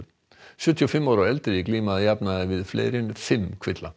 sjötíu og fimm ára og eldri glíma að jafnaði við fleiri en fimm kvilla